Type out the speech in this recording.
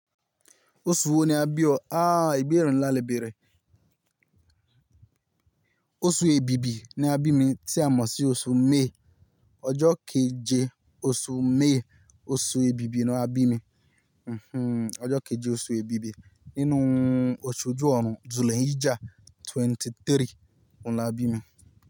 Oṣu wo ni a bí ọ? Aaa ìbéèrè nlà lè béèrè. Oṣù èbìbí ni a bí mi tí a mọ̀ sí oṣù May. Ọjọ́ keje oṣù May, oṣù èbìbí ni a bí mi. Hhm Ọjọ́ keje oṣù èbìbí nínú osù ojú ọ̀run. Dhul-Hijjah twenty-three òun la bí mi.